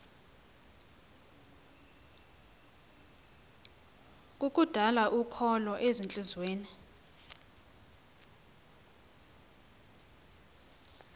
kukudala ukholo ezintliziyweni